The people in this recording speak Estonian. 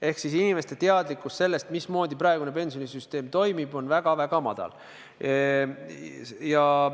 Ehk inimeste teadlikkus sellest, mismoodi praegune pensionisüsteem toimib, on väga-väga madal.